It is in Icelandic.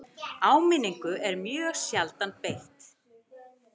Áminningu er mjög sjaldan beitt